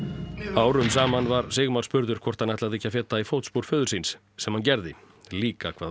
árum saman var Sigmar spurður hvort hann ætlaði ekki að feta í fótspor föður síns sem hann gerði líka hvað